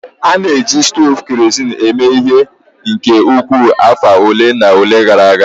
A na-eji stovu kerosin eme ihe nke ukwuu afọ ole na ole gara aga